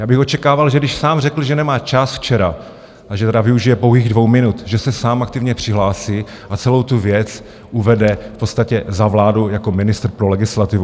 Já bych očekával, že když sám řekl, že nemá čas včera a že tedy využije pouhých dvou minut, že se sám aktivně přihlásí a celou tu věc uvede v podstatě za vládu jako ministr pro legislativu.